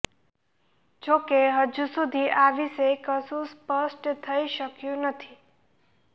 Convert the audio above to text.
જોકે હજુ સુધી આ વિશે કશું સ્પષ્ટ થઈ શક્યું નથી